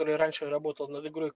торый раньше работал над игрой